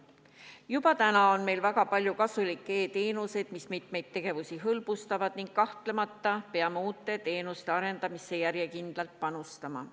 Juba täna on meil väga palju kasulikke e-teenuseid, mis mitmeid tegevusi hõlbustavad, ning kahtlemata peame uute teenuste arendamisse järjekindlalt panustama.